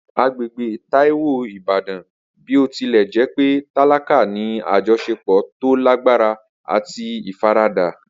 Agbègbè Taiwo ìbàdàn, bí ó tilẹ̀ jẹ́ pé tálákà, ní àjọṣepọ̀ tó lágbára àti ìfaradà.